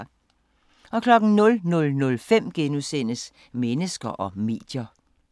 00:05: Mennesker og medier *